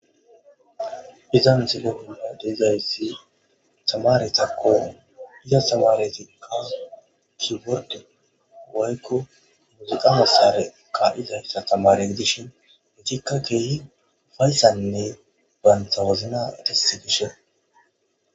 iza miselepina de'izaysi tamaretakko iza stamaretika kiworde woykko muziqa masare ka izayssa tamare gidishin intikka keehi fayssanne bantha wozna disse gishe